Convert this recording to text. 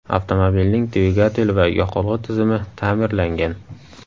Avtomobilning dvigateli va yoqilg‘i tizimi ta’mirlangan.